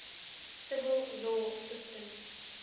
civil law systems